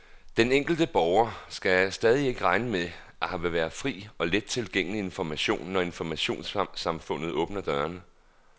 Den enkelte borger skal stadig ikke regne med, at her vil være fri og let tilgængelig information, når informationssamfundet åbner dørene.